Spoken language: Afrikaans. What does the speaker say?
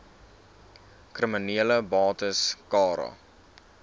kriminele bates cara